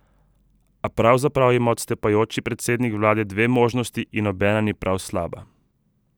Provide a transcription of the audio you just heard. A pravzaprav ima odstopajoči predsednik vlade dve možnosti in nobena ni prav slaba ...